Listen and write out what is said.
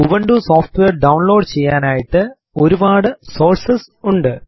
Ubuntu software download ചെയ്യാനായിട്ട് ഒരുപാട് sources ഉണ്ട്